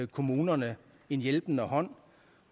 kommunerne en hjælpende hånd